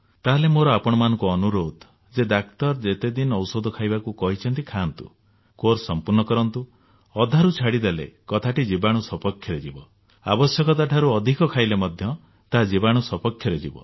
ତାହେଲେ ମୋର ଆପଣମାନଙ୍କୁ ଅନୁରୋଧ ଯେ ଡାକ୍ତର ଯେତେ ଦିନ ଔଷଧ ଖାଇବାକୁ କହିଛନ୍ତି ଖାଆନ୍ତୁ କୋର୍ସ ସମ୍ପୂର୍ଣ୍ଣ କରନ୍ତୁ ଅଧାରୁ ଛାଡି ଦେଲେ କଥାଟି ଜୀବାଣୁ ସପକ୍ଷରେ ଯିବ ଆବଶ୍ୟକତାଠାରୁ ଅଧିକ ଖାଇଲେ ମଧ୍ୟ ତାହା ଜୀବାଣୁ ସପକ୍ଷରେ ଯିବ